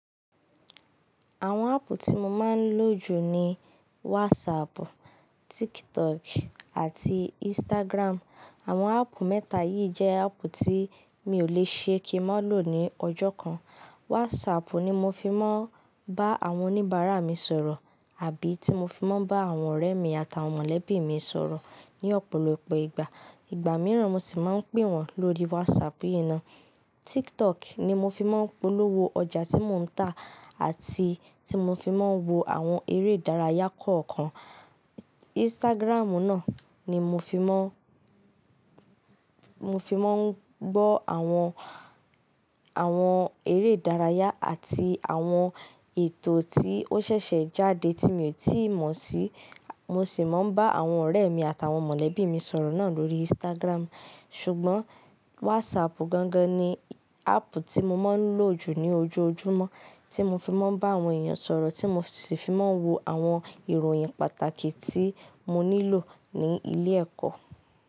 Àwọn áàpù tí mo máa ń lò jù ni WhatsApp, TikTok àti Instagram. Àwọn áàpù mẹ́ta yìí jẹ́ áàpù tí mi ò le ṣe kí n má lò ní ọjọ́ kan. WhatsApp ni mo fi máa ń bá àwọn oníbàárà mi sọ̀rọ̀ àbí tí mo fi máa ń bá àwọn ọ̀rẹ́ mi àtàwọn mọ̀lẹ́bí mi sọ̀rọ̀ ní ọ̀pọ̀lọpọ̀ ìgbà. Ìgbà mìíràn mo sì máa ń pè wọ́n lórí WhatsApp yìí ná. TikTok ni mo fi máa ń polówó ọjà tí mo ń tà àti tí mo fi máa ń wo àwọn eré ìdárayá kọ̀ọ̀kan. Instagram náà ni mo fi máa ń, mo fi máa ń gbọ́ àwọn, àwọn eré ìdárayá àti àwọn ètò tí ó ṣẹ̀ṣẹ̀ jáde tí mi ò tíì mọ̀ sí. Mo sì máa ń bá àwọn ọ̀rẹ́ mi àtàwọn mọ̀lẹ́bí mi sọ̀rọ̀ náà lórí Instagram. Ṣùgbọ́n WhatsApp gangan ni áàpù tí mo máa ń lò jù ní ojoojúmọ́, tí mo fi máa ń bá àwọn èèyàn sọ̀rọ̀, tí mo sì fi máa ń wo àwọn ìròyìn pàtàkì tí mo nílò ní ilé ẹ̀kọ́.